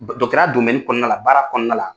Dɔ dɔtɔrɔya kɔnɔna la baara kɔnɔna la.